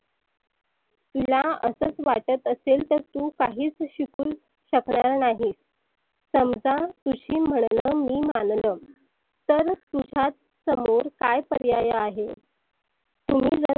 तुला असच वाटत असेल तर तु काहीच शिकू शकनार नाहीस. समजा तुझ म्हणनं मी मानलं तरच तुझ्या समोर काय पर्याय आहे? तुम्ही जर